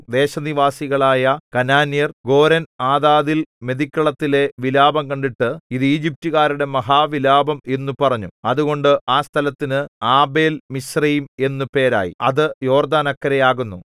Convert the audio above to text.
ദേശനിവാസികളായ കനാന്യർ ഗോരെൻആതാദിൽ മെതിക്കളത്തിലെ വിലാപം കണ്ടിട്ട് ഇതു ഈജിപ്റ്റുകാരുടെ മഹാവിലാപം എന്നു പറഞ്ഞു അതുകൊണ്ട് ആ സ്ഥലത്തിന് ആബേൽമിസ്രയീം എന്നു പേരായി അത് യോർദ്ദാനക്കരെ ആകുന്നു